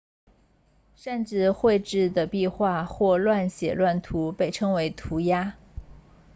擅自绘制的壁画或乱写乱涂被称为涂鸦